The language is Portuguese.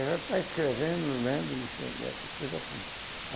Ela está escrevendo, lendo e e essas coisas assim.